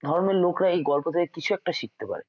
ধর্মের লোকরা এই গল্প থেকে কিছু একটা শিখতে পারে